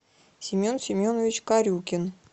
семен семенович корюкин